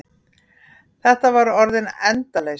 Þetta var orðin endaleysa.